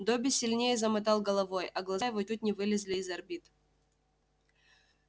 добби сильнее замотал головой а глаза его чуть не вылезли из орбит